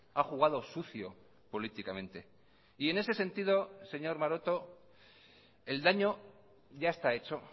ha jugado sucio políticamente y en ese sentido señor maroto el daño ya está hecho